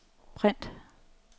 print